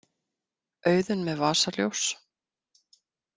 Auðunn með vasaljós.